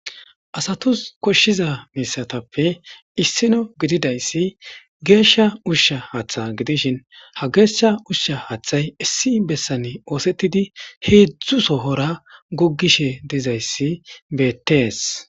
asatus koshshiza misatappe issino gididayssi geeshsha ushsha haaththa gidishin ha geeshsha ushsha haaththay issi bessane oosettidi heedzdzu sohora guggishe dizayssi beettees